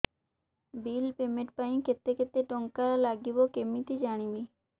bill payment ପାଇଁ କେତେ କେତେ ଟଙ୍କା ଲାଗିବ କେମିତି ଜାଣିବି